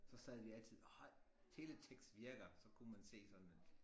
Så sad vi altid åh teletekst virker så kunne man se sådan en